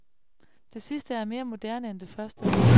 Det sidste er mere moderne end det første.